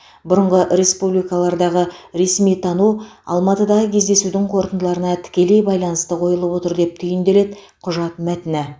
бұрынғы республикаларды ресми тану алматыдағы кездесудің қорытындыларына тікелей байланысты қойылып отыр деп түйінделеді құжат мәтіні